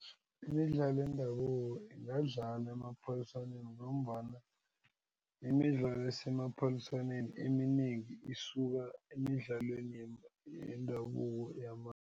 Imidlalo yendabuko ingadlalwa emaphaliswaneni ngombana imidlalo esemaphaliswaneni eminengi isuka emidlalweni yema yendabuko